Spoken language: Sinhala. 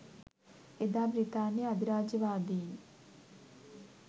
එදා බ්‍රිතාන්‍ය අධිරාජ්‍යවාදීන්